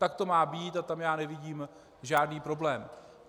Tak to má být a tam já nevidím žádný problém.